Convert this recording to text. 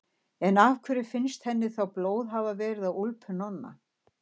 En af hverju finnst henni þá blóð hafa verið á úlpu Nonna?